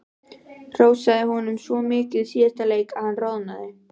Hrósaði honum svo mikið í síðasta leik að hann roðnaði.